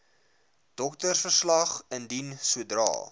doktersverslag indien sodra